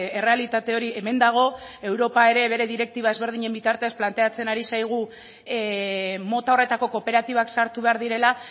errealitate hori hemen dago europa ere bere direktiba ezberdinen bitartez planteatzen ari zaigu mota horretako kooperatibak sartu behar direla